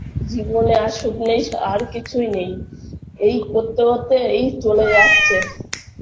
জীবনে আর সুখ নেই স আর কিছুই নেই এই করতে করতে এই চলে যাচ্ছে